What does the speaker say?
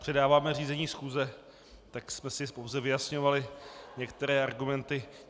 Předáváme řízení schůze, tak jsme si pouze vyjasňovali některé argumenty.